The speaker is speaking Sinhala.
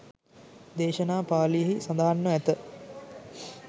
දේශනා පාලියෙහි සඳහන්ව ඇත.